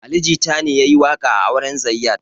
Ali jita ne yayi waƙa a auren zayyad